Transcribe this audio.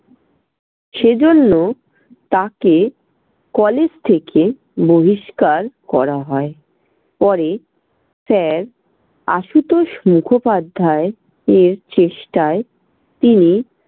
সেজন্য তাকে college থেকে বহিষ্কার করা হয়। পরে sir আশুতোষ মুখোপাধ্যায় এর চেষ্টায় তিনি